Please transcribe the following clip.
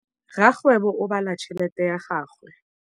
Rakgwêbô o bala tšheletê ya gagwe.